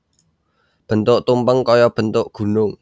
Bentuk tumpeng kaya bentuk gunung